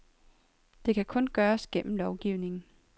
Og det kan kun gøres gennem lovgivning.